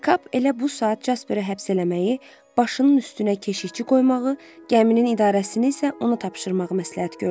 Kap elə bu saat Jasperi həbs eləməyi, başının üstünə keşikçi qoymağı, gəminin idarəsini isə ona tapşırmağı məsləhət gördü.